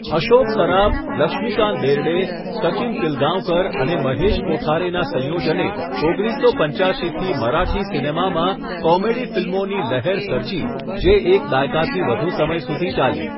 અશોક સરાફ, લક્ષ્મીકાંત બેર્ડે, સચિન પિલગાંવકર અને મહેશ કોઠારેના સંયોજને ઓગણીસસો પંચ્યાશીથી મરાઠી સિનેમામાં 'કોમેડી ફિલ્મોની લહેર' સર્જી જે એક દાયકાથી વધુ સમય સુધી ચાલી.